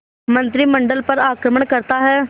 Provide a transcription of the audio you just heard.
मंत्रिमंडल पर आक्रमण करता है